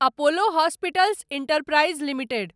Apollo hospitals enterprise limited